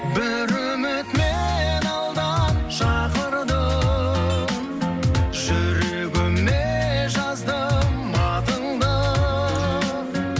бір үміт мені алдан шақырды жүрегіме жаздым атыңды